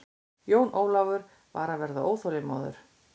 Jón Ólafur var að verða óþolinmóður.